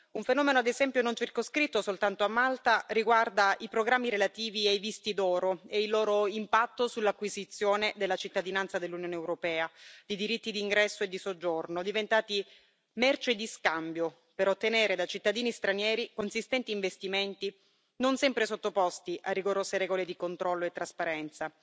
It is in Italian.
Un fenomeno, ad esempio, non circoscritto soltanto a Malta riguarda i programmi relativi ai visti d'oro e al loro impatto sull'acquisizione della cittadinanza dell'Unione europea, i diritti di ingresso e di soggiorno, diventati merce di scambio per ottenere da cittadini stranieri consistenti investimenti, non sempre sottoposti a rigorose regole di controllo e trasparenza.